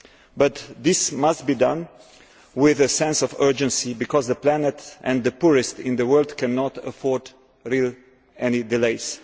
But this must be done with a sense of urgency, because the planet and the poorest in the world cannot afford any delays.